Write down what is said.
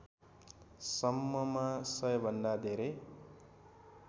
सम्ममा सयभन्दा धेरै